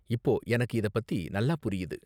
இப்போ எனக்கு இத பத்தி நல்லா புரியுது.